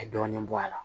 Ka dɔɔnin bɔ a la